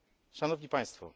Szanowni Państwo!